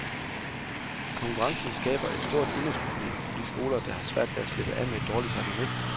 Konkurrencen skaber et stort imageproblem på de skoler, der har svært ved at slippe af med et dårligt renommé.